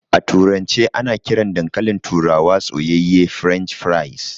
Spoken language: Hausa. A turance ana kiran dankalin turawa soyayye "French fries".